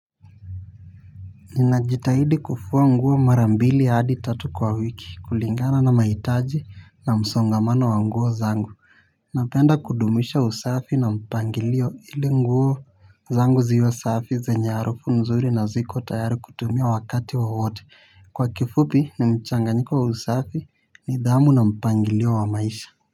Ninajitahidi kufua nguo mara mbili hadi tatu kwa wiki kulingana na mahitaji na msongamano wa nguo zangu Napenda kudumisha usafi na mpangilio ili nguo zangu ziwa safi zenye harufu nzuri na ziko tayari kutumia wakati wowote Kwa kifupi ni mchanganyiko wa usafi nidhamu na mpangilio wa maisha.